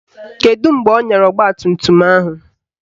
Kedụ mgbe ọ nyara ọgbatumtum ahụ?